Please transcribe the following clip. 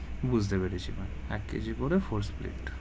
বুজতে পেরেছি ma'am এক KG করে four split.